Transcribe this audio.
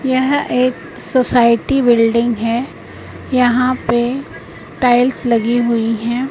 यह एक society building है यहां पे टाइल्स लगी हुई है।